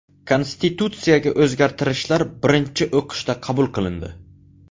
Konstitutsiyaga o‘zgartishlar birinchi o‘qishda qabul qilindi.